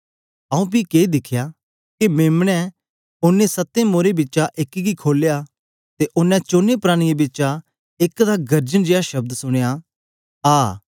आऊँ पी के दिखया के मेम्ने ओनें सत्तें मोरां बिचा एक गी खोलया ते ओनें चोने प्राणियें बिचा एक दा गर्जन जेया शब्द सुनया आ